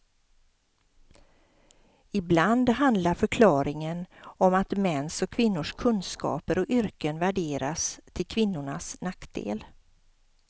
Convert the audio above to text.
Ibland handlar förklaringen om att mäns och kvinnors kunskaper och yrken värderas till kvinnornas nackdel.